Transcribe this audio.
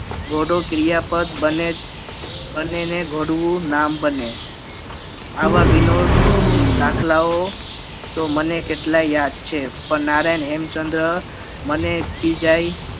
તોડો ક્રિયાપદ બને બને ને નામ બને આવા વિનોદ દાખલાઓ તો મને કેટલાય યાદ છે પણ નારાયણ હેમચંદ્ર મને બી જઈ